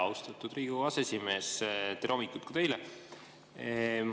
Austatud Riigikogu aseesimees, tere hommikust teile!